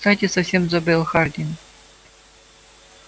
кстати совсем забыл хардин